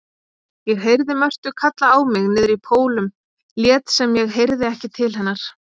Ég heyrði Mörtu kalla á mig niðrí Pólum lét sem ég heyrði ekki til hennar.